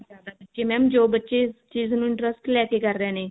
ਤੇ mam ਜੋ ਬਚੇ ਇਸ ਚੀਜ਼ ਨੂੰ interest ਲੇਕੇ ਕਰ ਰਹੇ ਨੇ